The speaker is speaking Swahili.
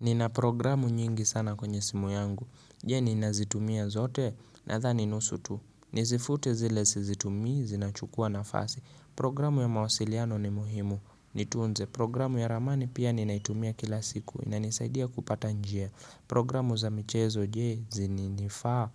Nina programu nyingi sana kwenye simu yangu, je, ninazitumia zote nadhani nusu tu. Nizifute zile zizitumia zinachukua nafasi, programu ya mawasiliano ni muhimu. Nitunze programu ya ramani pia ninaitumia kila siku na nisaidia kupata njia Programu za michezo je, zinifaa